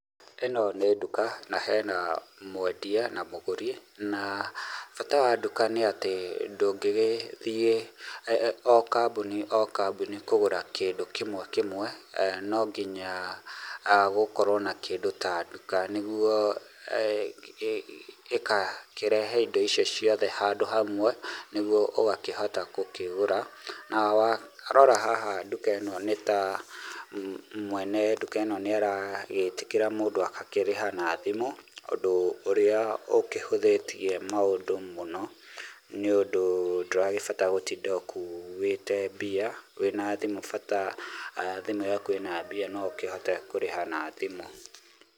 Ĩno nĩ nduka, na hena mwendia na mũgũri, na bata wa duka nĩ atĩ ndũngĩgĩthiĩ o kambuni o kambuni kũgũra kĩndũ kĩmwe kĩmwe, nonginya gũkorwo na kĩndũ ta duka nĩguo ĩkakĩrehe indo icio ciothe handũ hamwe, nĩguo ũgakĩhota gũkĩgũra, na warora haha duka ĩno nĩ ta mwene duka ĩno nĩ aragĩtĩkĩra mũndũ agakĩrĩha na thimũ, ũndũ ũrĩa ũkĩhũthĩtie maũndũ mũno, nĩũndũ ndũragĩbatara gũtinda ũkuĩte mbia, wĩna thimũ bata thimũ yaku ĩna mbia no ũkĩhote kũrĩha na thimũ.